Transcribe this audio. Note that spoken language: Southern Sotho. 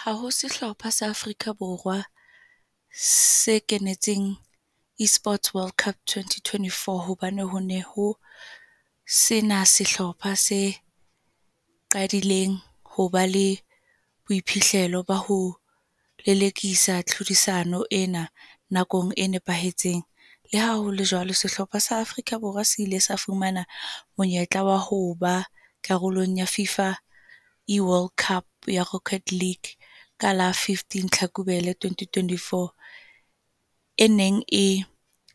Ha ho sehlopha sa Afrika Borwa, se kenetseng eSports World Cup, Twenty-twenty-four. Hobane ho ne ho sena sehlopha se qadileng hoba le boiphihlelo ba ho lelekisa tlhodisano ena. Nakong e nepahetseng. Le haholo jwalo, sehlopha sa Afrika Borwa se ile sa fumana monyetla wa ho ba karolong ya Fifa eWorld Cup ya Rocket League ka la fifteen Hlakubele, Twenty-twenty-four. E neng e